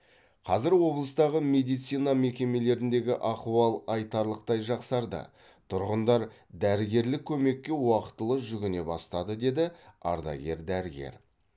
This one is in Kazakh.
қазір облыстағы медицина мекемелеріндегі ахуал айтарлықтай жақсарды тұрғындар дәрігерлік көмекке уақытылы жүгіне бастады деді ардагер дәрігер